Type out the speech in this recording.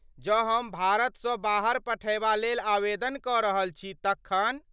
जँ हम भारतसँ बाहर पठयबा लेल आवेदन कऽ रहल छी तखन?